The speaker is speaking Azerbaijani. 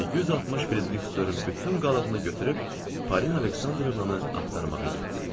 Və 160 frieriks dörmün bütün qalığını götürüb Parina Aleksandrovnanı axtarmağa getdim.